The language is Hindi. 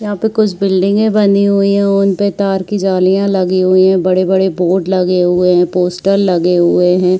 यहा पे कुछ बिल्डिंगे बनी हुई है। उनपे तार की जालिया लगी हुई है। बड़े- बड़े बोर्ड लगे हुए है पोस्टर लगे हुए है।